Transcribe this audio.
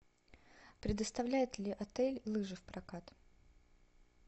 предоставляет ли отель лыжи в прокат